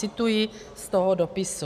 Cituji z toho dopisu.